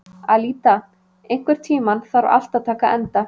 Alída, einhvern tímann þarf allt að taka enda.